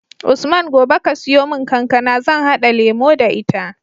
Usman gobe ka siyo mun kankAna zan hada lemo da ita